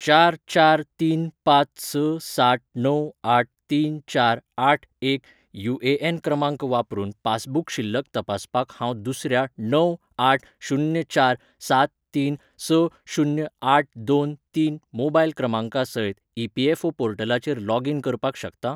चार चार तीन पांच स सात णव आठ तीन चार आठ एक युएएन क्रमांक वापरून पासबूक शिल्लक तपासपाक हांव दुसऱ्या णव आठ शून्य चार सात तीन स शून्य आठ दोन तीन मोबायल क्रमांका सयत ईपीएफओ पोर्टलाचेर लॉग इन करपाक शकता ?